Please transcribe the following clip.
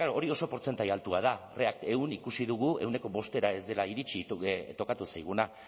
klaro hori oso portzentai altua da react eun ikusi dugu ehuneko bostera ez dela iritsi tokatu zaiguna